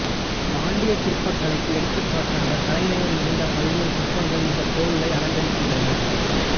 பாண்டிய சிற்ப கலைக்கு எடுத்துகாட்டாக கலைநயம் மிகுந்த பல்வேறு சிற்பங்கள் இந்தக் கோவிலை அலங்கரிக்கின்றன